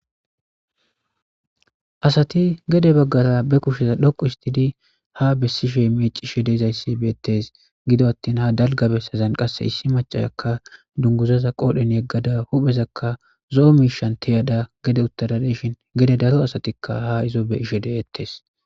asati gede baggata be kusheza dhoqu istidi ha bessishe mecishe deizayssi beettes gido attin ha dalgabessazan qasse issi macahakka dunguzaza qoodhen yeggada huphezakka zo7o miishan tiyada gede uttadadeshin gede daro asatikka ha izo be ishe deettes